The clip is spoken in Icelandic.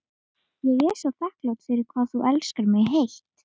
Ég er svo þakklát fyrir hvað þú elskar mig heitt.